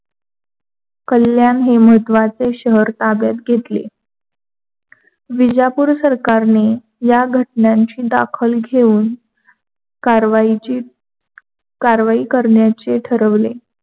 कल्याण हि महत्वाचे शहर ताब्यात घेतले. विजापूर सरकारने या घटनाची दाखल घेऊन कार्वाहीची कारवाही करण्याचे ठरविले.